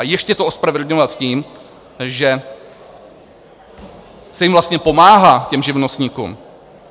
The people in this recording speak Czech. A ještě to ospravedlňovat tím, že se jim vlastně pomáhá, těm živnostníkům.